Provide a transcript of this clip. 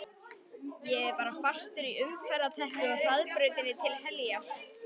Ég er bara fastur í umferðarteppu á hraðbrautinni til heljar.